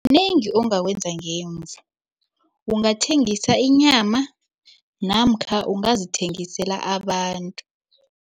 Kunengi ongakwenza ngemvu. Ungathengisa inyama namkha ungazithengisela abantu.